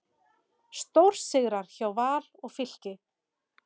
Stórsigrar hjá Val og Fylki